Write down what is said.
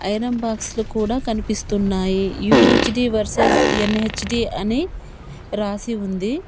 Iron box లు కూడా కనిపిస్తున్నాయి యు_హెచ్_డి వర్సెస్ ఎన్_హెచ్_డి అని రాసి ఉంది.